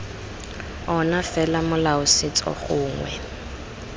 ona fela molao setso gongwe